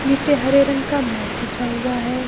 नीचे हरे रंग का मैट बिछा हुआ है।